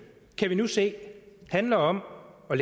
kan vi nu se handler om at